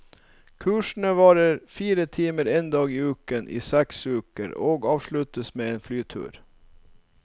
Kursene varer fire timer en dag i uken i seks uker, og avsluttes med en flytur.